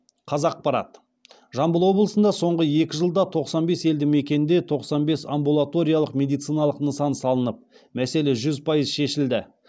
қазақпарат жамбыл облысында соңғы екі жылда тоқсан бес елді мекенде тоқсан бес амбулаториялық медициналық нысан салынып мәселе жүз пайыз шешілді